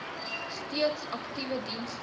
steeds aktiewe diens